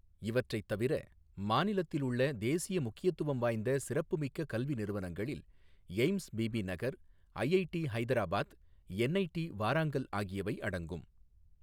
இவற்றைத் தவிர, மாநிலத்தில் உள்ள தேசிய முக்கியத்துவம் வாய்ந்த சிறப்புமிக்க கல்வி நிறுவனங்களில் AIIMS Bibinagar, IIT Hyderabad, NIT Warangal ஆகியவை அடங்கும்.